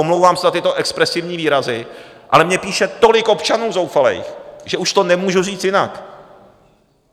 Omlouvám se za tyto expresivní výrazy, ale mně píše tolik občanů zoufalých, že už to nemůžu říct jinak.